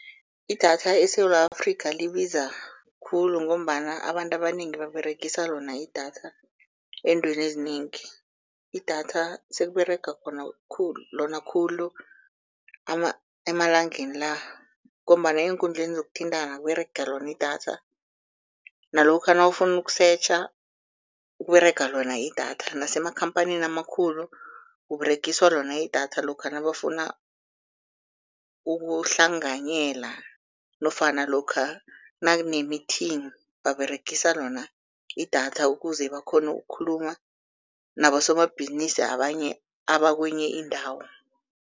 Idatha eSewula Afrika libiza khulu ngombana abantu abanengi baberegisa lona idatha eentweni ezinengi, idatha sekUberega lona khulu emalangeni la ngombana eenkundleni zokuthintana kUberega lona idatha nalokha nawufuna ukusetjha kUberega lona idatha nasemakhamphanini amakhulu, kUberegiswa lona idatha lokha nabafuna ukuhlanganyela nofana lokha nakune-meeting, baberegisa lona idatha ukuze bakghone ukukhuluma nabosomabhizinisi abanye abakwenye indawo.